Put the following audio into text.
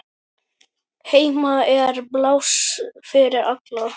Heima er pláss fyrir alla.